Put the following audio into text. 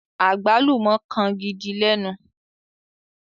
agbalumọ kán gìdí lénu.